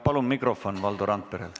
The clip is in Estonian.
Palun mikrofon Valdo Randperele!